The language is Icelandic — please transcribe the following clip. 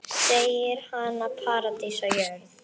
Segir hana paradís á jörð.